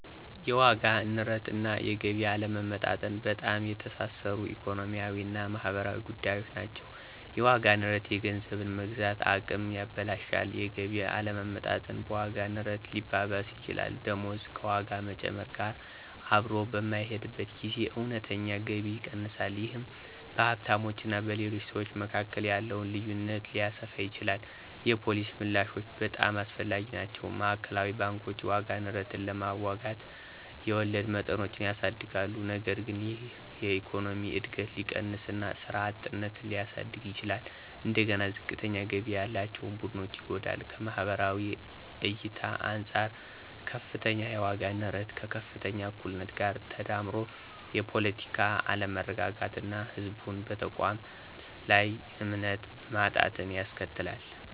የዋጋ ንረት እና የገቢ አለመመጣጠን በጣም የተሳሰሩ ኢኮኖሚያዊ እና ማህበራዊ ጉዳዮች ናቸው። የዋጋ ንረት የገንዘብን የመግዛት አቅም ያበላሻል። የገቢ አለመመጣጠን በዋጋ ንረት ሊባባስ ይችላል። ደሞዝ ከዋጋ መጨመር ጋር አብሮ በማይሄድበት ጊዜ እውነተኛ ገቢ ይቀንሳል። ይህ በሀብታሞች እና በሌሎች ሰዎች መካከል ያለውን ልዩነት ሊያሰፋ ይችላል። የፖሊሲ ምላሾች በጣም አስፈላጊ ናቸው። ማዕከላዊ ባንኮች የዋጋ ንረትን ለመዋጋት የወለድ መጠኖችን ያሳድጋሉ። ነገር ግን ይህ የኢኮኖሚ እድገትን ሊቀንስ እና ስራ አጥነትን ሊያሳድግ ይችላል። እንደገና ዝቅተኛ ገቢ ያላቸውን ቡድኖች ይጎዳል። ከማህበራዊ እይታ አንፃር - ከፍተኛ የዋጋ ንረት ከከፍተኛ እኩልነት ጋር ተዳምሮ የፖለቲካ አለመረጋጋትን እና ህዝቡን በተቋማት ላይ እምነት ማጣትን ያስከትላል።